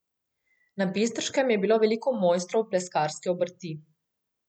Na Bistriškem je bilo veliko mojstrov pleskarske obrti.